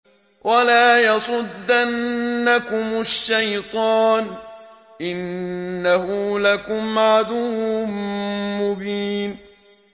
وَلَا يَصُدَّنَّكُمُ الشَّيْطَانُ ۖ إِنَّهُ لَكُمْ عَدُوٌّ مُّبِينٌ